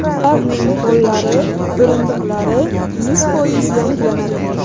Ularning pollari, o‘rindiqlari yuz foiz yangilanadi.